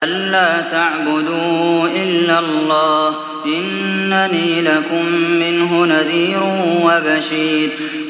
أَلَّا تَعْبُدُوا إِلَّا اللَّهَ ۚ إِنَّنِي لَكُم مِّنْهُ نَذِيرٌ وَبَشِيرٌ